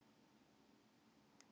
Örnum fjölgaði í sumar